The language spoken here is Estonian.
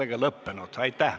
Istungi lõpp kell 10.01.